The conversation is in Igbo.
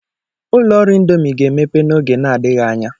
Ụlọ ọrụ ịndomii ga-emepe n'oge na-adịghị anya.